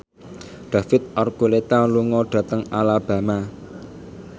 David Archuletta lunga dhateng Alabama